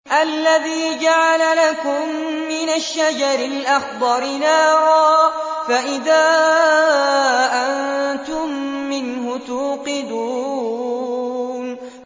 الَّذِي جَعَلَ لَكُم مِّنَ الشَّجَرِ الْأَخْضَرِ نَارًا فَإِذَا أَنتُم مِّنْهُ تُوقِدُونَ